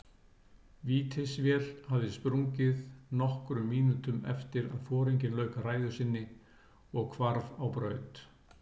Vítisvél hafði sprungið nokkrum mínútum eftir að foringinn lauk ræðu sinni og hvarf á braut.